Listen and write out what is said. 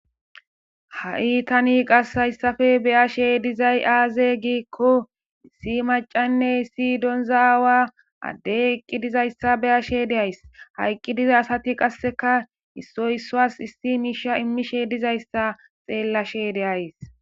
Ha'i haysape tani be'ishe dizay aze giko issi mac'anne issi donza awa Ade eqidi dizaysa be'ashe days haysi dizaysi qaseka issoy isuwa issi misha imishe dizaysa xeelashe de'ays.